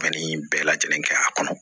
Fani bɛɛ lajɛlen kɛ a kɔnɔ